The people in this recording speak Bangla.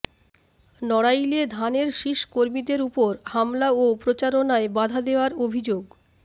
নড়াইলে ধানের শীষ কর্মীদের ওপর হামলা ও প্রচারণায় বাধা দেয়ার অভিযোগ